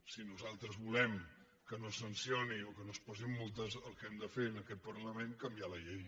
si nosaltres volem que no es sancioni o que no es posin multes el que hem de fer en aquest parlament és canviar la llei